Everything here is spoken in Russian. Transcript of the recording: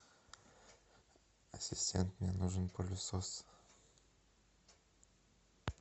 ассистент мне нужен пылесос